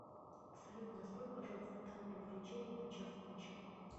салют настрой пожалуйста таймер отключения на час ночи